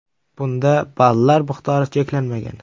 Bunda ballar miqdori cheklanmagan.